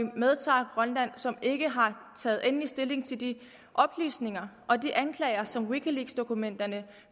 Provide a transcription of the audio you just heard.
medtager grønland som ikke har taget endelig stilling til de oplysninger og de anklager som wikileaksdokumenterne